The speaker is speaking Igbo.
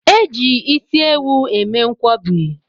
E ji isi ewu eme nkwọbi